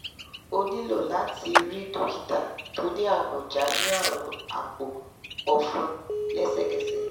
o nilo láti rí dokita tó ní amọ̀ja ní àrùn àpò-ọfun lẹsẹkẹsẹ